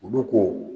Olu ko